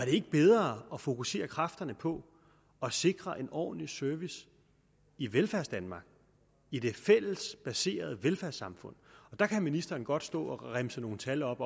ikke bedre at fokusere kræfterne på at sikre en ordentlig service i velfærdsdanmark i det fællesbaserede velfærdssamfund der kan ministeren godt stå og remse nogle tal op